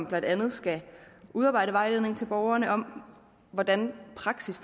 blandt andet skal udarbejde vejledninger til borgerne om hvordan praksis